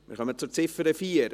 Wir kommen zur Ziffer 4.